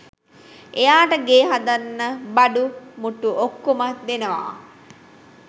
එයාට ගේ හදන්න බඩු මුට්ටු ඔක්කොම දෙනවා